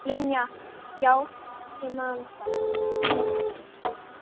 Linja, já ég man það.